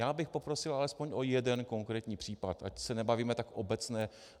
Já bych poprosil alespoň o jeden konkrétní případ, ať se nebavíme tak obecně.